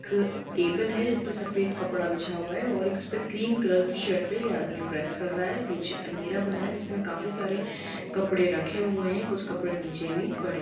क टेबल है जिसपे सफेद कपड़ा बिछा हुआ है और इस पे क्रीम कलर की शर्ट पर ये आदमी प्रेस कर रहा है पीछे अलमीरा बना है जिसमें काफी सारे कपड़े रखे हुए हैं। कुछ कपड़े नीचे भी पड़े --